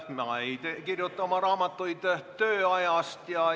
Ma ei kirjuta oma raamatuid tööajast.